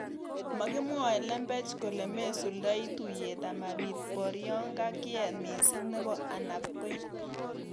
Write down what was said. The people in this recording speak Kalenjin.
Makimwoe lembech kole mesuldoi tuiyet amapit borionga kiet missing nebo ainabkoi